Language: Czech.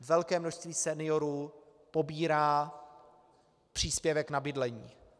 Velké množství seniorů pobírá příspěvek na bydlení.